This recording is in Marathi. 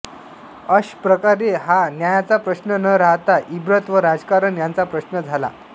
अश प्रकारे हा न्यायाचा प्रश्न न रहाता इभ्रत व राजकारण यंचा प्रश्न झाला